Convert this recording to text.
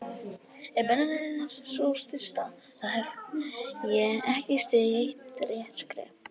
Ef beina leiðin er sú stysta, þá hef ég ekki stigið eitt rétt skref.